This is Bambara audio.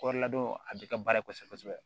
Kɔɔri ladon a bɛ kɛ baara ye kosɛbɛ kosɛbɛ